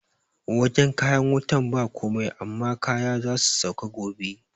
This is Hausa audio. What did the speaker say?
Wajan kayan wutan ba komai amma kaya zasu sauka gobe